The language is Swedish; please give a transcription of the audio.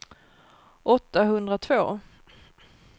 åttahundratvå